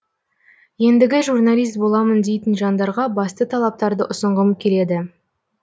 ендігі журналист боламын дейтін жандарға басты талаптарды ұсынғым келеді